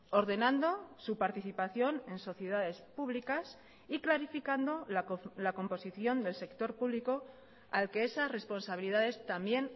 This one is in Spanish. ordenando su participación en sociedades públicas y clarificando la composición del sector público al que esas responsabilidades también